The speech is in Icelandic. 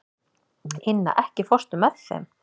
Inna, ekki fórstu með þeim?